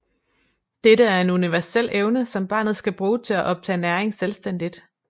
Dette er en universel evne som barnet skal bruge til at optage næring selvstændigt